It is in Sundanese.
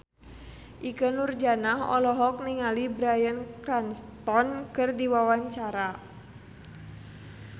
Ikke Nurjanah olohok ningali Bryan Cranston keur diwawancara